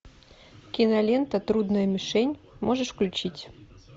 кинолента трудная мишень можешь включить